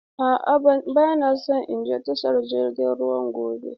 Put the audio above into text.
A'a ba na son in je tashar jiragen ruwa gobe.